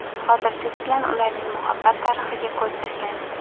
Hozir siz bilan ularning muhabbat tarixiga ko‘z tashlaymiz.